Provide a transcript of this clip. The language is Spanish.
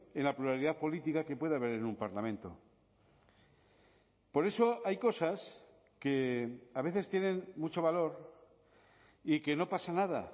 en la pluralidad política que puede haber en un parlamento por eso hay cosas que a veces tienen mucho valor y que no pasa nada